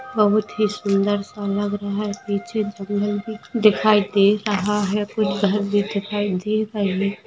बहुत ही सुंदर सा लग रहा है पीछे दिखाई दे रहा है कुछ घर भी दिखाई दे रहे है।